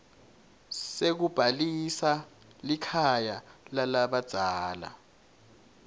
sekubhalisa likhaya lalabadzala